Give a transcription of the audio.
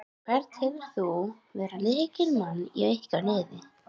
Hvern telur þú vera lykilmann í ykkar liði?